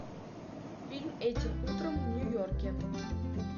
фильм этим утром в нью йорке